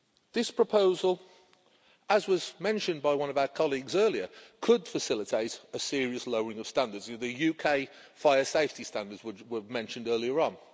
This proposal, as was mentioned by one of our colleagues earlier, could facilitate a serious lowering of standards the UK fire safety standards were mentioned earlier on.